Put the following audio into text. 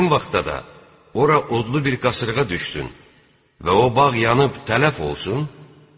Həmin vaxtda da ora odlu bir qasırğa düşsün və o bağ yanıb tələf olsun?